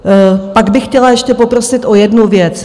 Pak bych chtěla ještě poprosit o jednu věc.